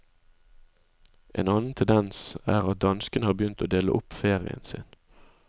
En annen tendens er at danskene har begynt å dele opp ferien sin.